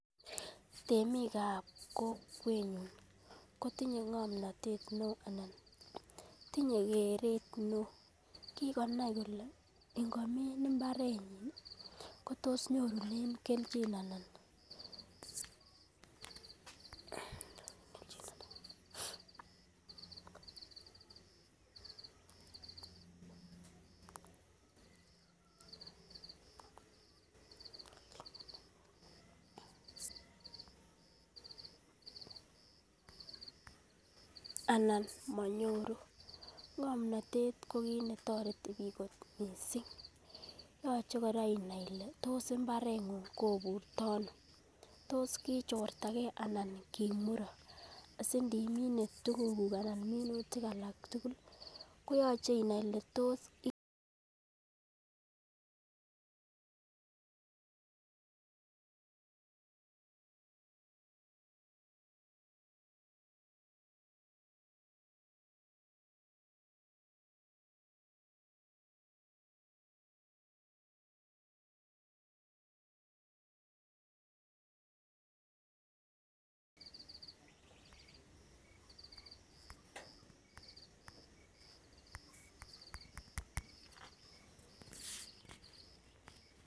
Temikab kokwenyun kotinye ngomnotet neo ana tinye keret neo kikonai kole ingomin imbarenyin kotos nyorunen keljin anan anan monyoru ngomnotet ko kit netoreti bik kot missing, yoche koraa inai ile tos imbarengung koburto Ono tos kochortagee anan kimurok sindemine tukuk kuk anan minutik alak tukuk koyoche inai ile tos ikere.